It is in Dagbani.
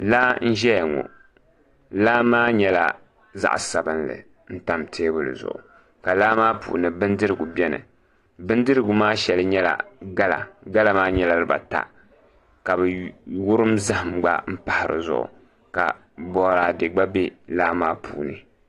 Laa n ʒɛya ŋo laa maa nyɛla zaɣ sabinli n tam teebuli zuɣu ka laa maa puuni bindirigu bɛni bindirigu maa shɛli nyɛla gala gala maa nyɛla dibata ka bi wurim zaham gba n pahi di zuɣu ka boraadɛ gba bɛ laa maa puuni